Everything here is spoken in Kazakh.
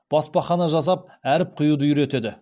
баспахана жасап әріп құюды үйретеді